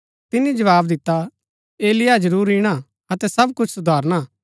तिनी जवाव दिता एलिय्याह जरूर ईणा अतै सब कुछ सुधारणा